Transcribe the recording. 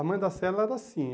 A Mãe da Sela era assim.